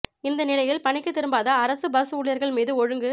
இந்த நிலையில் பணிக்கு திரும்பாத அரசு பஸ் ஊழியர்கள் மீது ஒழுங்கு